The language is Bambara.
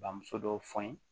Bamuso dɔw fe ye